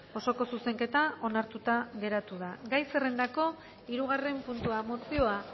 osoko zuzenketa onartuta geratu da gai zerrendako hirugarren puntua mozioa